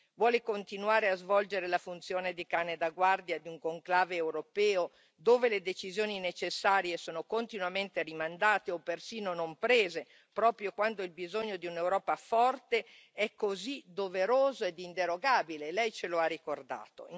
Vuole continuare a svolgere la funzione di cane da guardia di un conclave europeo dove le decisioni necessarie sono continuamente rimandate o persino non prese, proprio quando il bisogno di un'Europa forte è così doveroso ed inderogabile, Lei ce lo ha ricordato.